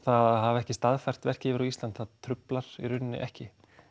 að hafa ekki staðfært verkið yfir á Ísland það truflar í rauninni ekki